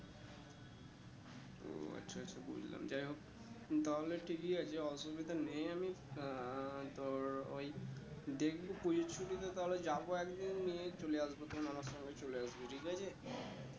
ও আচ্ছা আচ্ছা বুঝলাম যাই হোক তাহলে ঠিকই আছে অসুবিধা নেই আমি আহ তোর ওই দেখবো পুজোর ছুটিতে তাহলে যাবো একদিন নিয়ে চলে আসবো তখন আমার সঙ্গে চলে আসবি ঠিক আছে?